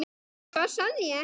Hvað sagði ég ekki?